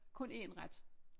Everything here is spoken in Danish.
Kun én ret